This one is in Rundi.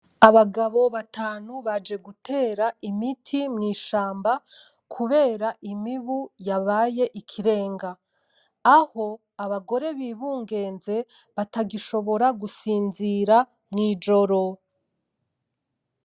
Abagabo batanu baje gutera imiti mw’ishamba kubera imibu yabaye ikirenga. Aho abagore bibungenze batagishobora gusinzira mw’ijoro.